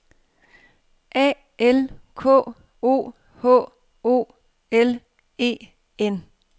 A L K O H O L E N